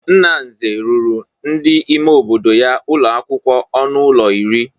Nna Nze rụrụ ndị ime obodo ya ụlọakwụkwọ ọnụ ụlọ iri.